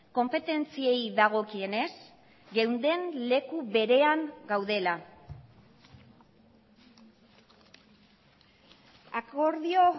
konpetentziei dagokienez geunden leku berean gaudela akordio